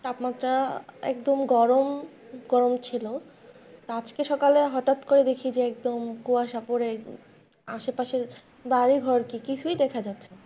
তাপমাত্রা একদম গরম, গরম ছিল তা আজকে সকালে হঠাৎ করে দেখি যে একদম কুয়াশা পড়ে আশেপাশের বাড়িঘর কে কিছুই দেখা যাচ্ছে না।